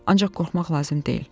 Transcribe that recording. Ancaq qorxmaq lazım deyil.